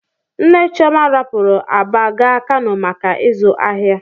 Nne Chioma rapuru Aba gaa Kano maka ịzụ ahịa.